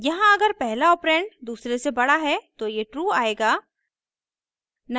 यहाँ अगर पहला ऑपरेंड दूसरे से बड़ा है तो ये true आएगा